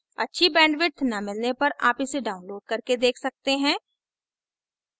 अच्छी bandwidth न मिलने पर आप इसे download करके देख सकते हैं